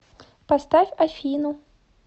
поставь афину